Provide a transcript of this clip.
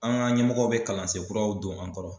An ka ɲɛmɔgɔw bɛ kalansen kuraw don an kɔrɔ.